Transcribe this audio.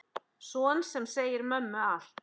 Son sem segir mömmu allt.